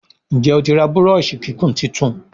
Nje otí rà Búrọ́ọ̀ṣì kíkún títún?